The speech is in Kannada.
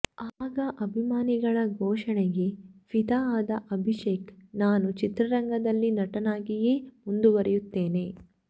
ಆಗ ಅಭಿಮಾನಿಗಳ ಘೋಷಣೆಗೆ ಫಿದಾ ಆದ ಅಭಿಷೇಕ್ ನಾನು ಚಿತ್ರರಂಗದಲ್ಲಿ ನಟನಾಗಿಯೇ ಮುಂದುವರಿಯುತ್ತೇನೆ